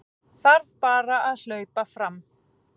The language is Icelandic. Þarf bara að hlaupa fram